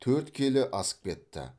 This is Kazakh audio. төрт келі асып кетті